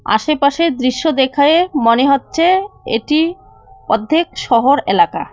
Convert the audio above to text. আশেপাশের দৃশ্য দেখায়ে মনে হচ্ছে এটি অধ্যেক শহর এলাকা।